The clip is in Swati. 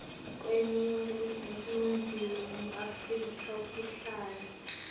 kweningizimu afrika kuhlala